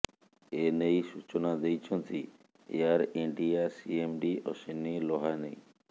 ଏନେଇ ସୂଚନା ଦେଇଛନ୍ତି Air India CMD Ashwani Lohani